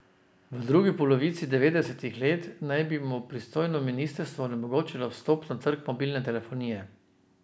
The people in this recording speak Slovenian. V drugi polovici devetdesetih let naj bi mu pristojno ministrstvo onemogočilo vstop na trg mobilne telefonije.